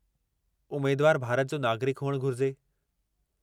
उमेदवारु भारत जो नागरिकु हुअणु घुरिजे।